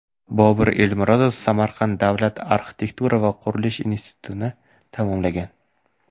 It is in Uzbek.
Bobur Elmurodov Samarqand davlat arxitektura va qurilish institutini tamomlagan.